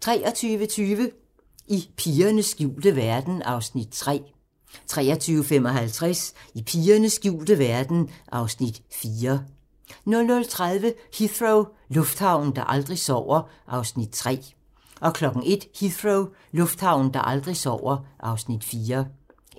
23:20: I pigernes skjulte verden (Afs. 3) 23:55: I pigernes skjulte verden (Afs. 4) 00:30: Heathrow - lufthavnen, der aldrig sover (Afs. 3) 01:00: Heathrow - lufthavnen, der aldrig sover (Afs. 4)